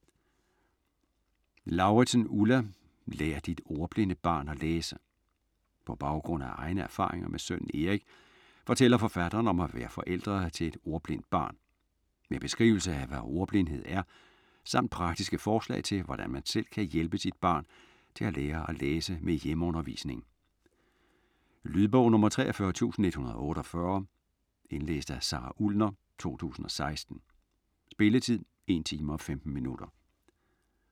Lauridsen, Ulla: Lær dit ordblinde barn at læse På baggrund af egne erfaringer med sønnen Erik fortæller forfatteren om at være forældre til et ordblindt barn. Med beskrivelse af hvad ordblindhed er, samt praktiske forslag til hvordan man selv kan hjælpe sit barn til at lære at læse med hjemmeundervisning. Lydbog 43148 Indlæst af Sara Ullner, 2016. Spilletid: 1 timer, 15 minutter.